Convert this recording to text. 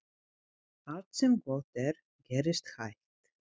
Allt sem gott er gerist hægt.